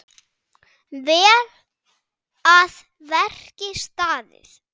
Vel að verki staðið!